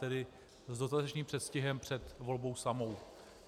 Tedy s dostatečným předstihem před volbou samou.